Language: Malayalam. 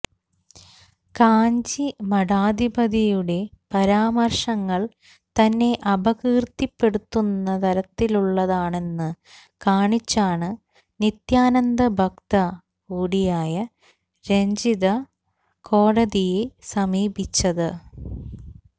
കാഞ്ചി മഠാധിപതിയുടെ പരാമർശങ്ങൾ തന്നെ അപകീർത്തിപ്പെടുത്തുന്ന തരത്തിലുള്ളതാണെന്ന് കാണിച്ചാണ് നിത്യാനന്ദ ഭക്ത കൂടിയായ രഞ്ജിത കോടതിയെ സമീപിച്ചത്